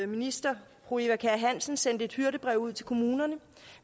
minister eva kjer hansen sendte et hyrdebrev ud til kommunerne